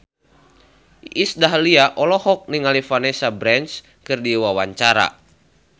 Iis Dahlia olohok ningali Vanessa Branch keur diwawancara